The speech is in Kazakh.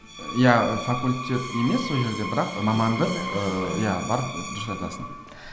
иә факультет емес ол жерде бірақ мамандық ыыы иә бар дұрыс айтасың